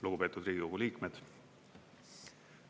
Lugupeetud Riigikogu liikmed!